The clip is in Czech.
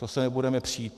To se nebudeme přít.